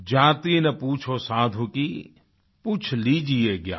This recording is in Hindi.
जाति न पूछो साधू की पूछ लीजिये ज्ञान